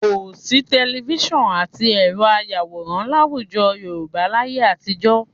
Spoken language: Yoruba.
Kò sí tẹlifísàn àti ẹ̀rọ ayàwòrán láwùjọ Yorùbá láyé àtijọ́